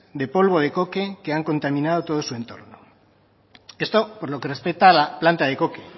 de polvo de coque que ha contaminado todo su entorno esto por lo que respecta a la planta de coque